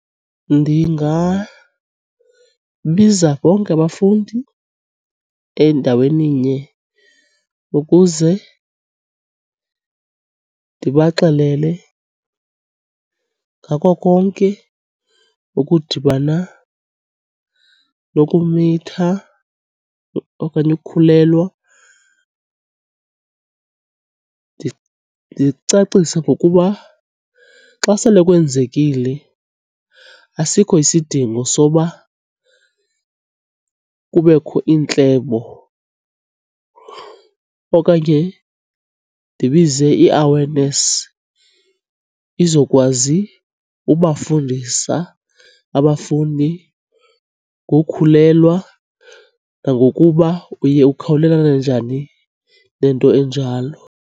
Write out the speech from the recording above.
Ndingabiza bonke abafundi endaweninye ukuze ndibaxelele ngako konke okudibana nokumitha okanye ukukhulelwa. Ndicacise ngokuba xa sele kwenzekile asikho isidingo soba kubekho iintlebo okanye ndibize i-awareness izokwazi ubafundisa abafundi ngokukhulelwa nangokuba uye ukhawulelane njani nento enjalo.